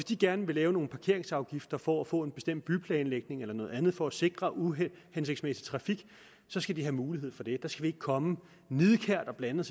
de gerne vil lave nogle parkeringsafgifter for at få en bestemt byplanlægning eller noget andet for at sikre mod uhensigtsmæssig trafik skal de have mulighed for det der skal vi ikke komme nidkært og blande